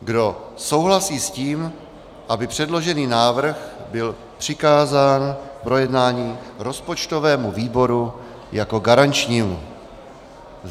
Kdo souhlasí s tím, aby předložený návrh byl přikázán k projednání rozpočtovému výboru jako garančnímu?